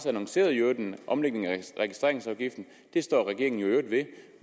annonceret en omlægning af registreringsafgiften det står regeringen i øvrigt ved